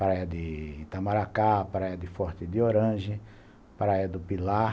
Praia de Itamaracá, Praia de Forte de Oranje, Praia do Pilar.